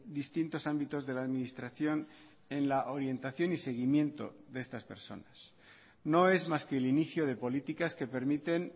distintos ámbitos de la administración en la orientación y seguimiento de estas personas no es más que el inicio de políticas que permiten